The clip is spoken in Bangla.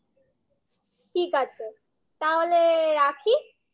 ঠিক আছে তাহলে রাখি?